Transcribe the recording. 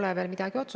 Hea tähelepanek!